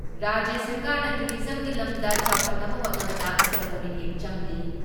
ꯔꯥꯖ꯭ꯌ ꯁꯔꯀꯥꯔꯅ ꯇꯨꯔꯤꯖꯝꯒꯤ ꯂꯝꯗ ꯆꯥꯎꯈꯠꯅꯕ ꯍꯣꯠꯅꯕꯗ ꯑꯀꯟꯕ ꯃꯤꯠꯌꯦꯡ ꯆꯪꯂꯤ ꯫